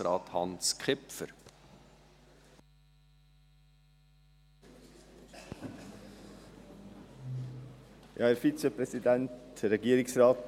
Die landwirtschaftliche Nutzung muss nach der Melioration nachhaltig sein und die Fruchtbarkeit der Böden langfristig erhalten bleiben.